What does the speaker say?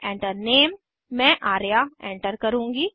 Enter Name मैं Arya enter करुँगी